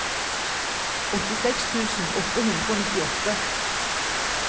åttiseks tusen åtte hundre og nittiåtte